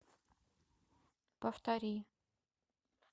повтори